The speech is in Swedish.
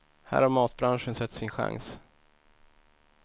Här har matbranschen sett sin chans.